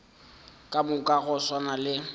ka moka go swana le